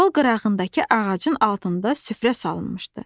Yol qırağındakı ağacın altında süfrə salınmışdı.